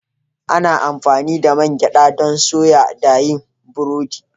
Ana amfani da man gyada don soya da yin burodi